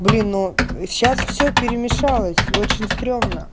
блин но сейчас все перемешалось очень стрёмно